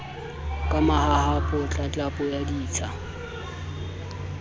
ka mahahapa tlatlapo ya ditsha